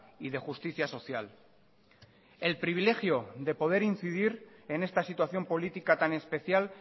y de justicia social el privilegio de poder incidir en esta situación política tan especial